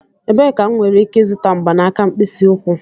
Ebee ka m nwere ike ịzụta mgbanaka mkpịsị ụkwụ?